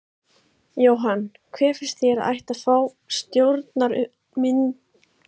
Jóhann: Hver finnst þér að ætti að fá stjórnarmyndunarumboðið?